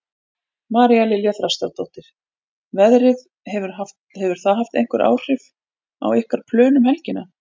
María Lilja Þrastardóttir: Veðrið, hefur það haft einhver áhrif á ykkar plön um helgina?